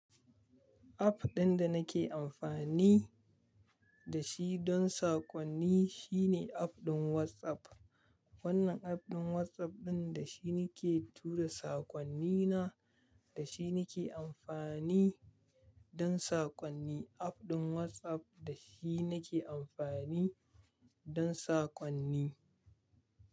App ɗin da nake amfani da shi don sakonni shine app ɗin WhatsApp. Wannan app ɗin WhatsApp ɗin da shi nake tura sakonnina, da shi nake amfani don sakonni. App ɗin WhatsApp da shi nake amfani don sakonni.